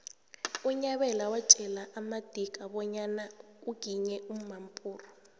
unyabela watjela amadika bonyana uginye umampuru